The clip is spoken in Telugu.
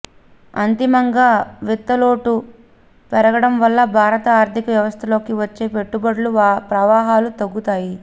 అంతిమంగా విత్తలోటు పెరగటం వల్ల భారత ఆర్థిక వ్యవస్థలోకి వచ్చే పెట్టుబడుల ప్రవాహాలు తగ్గుతాయి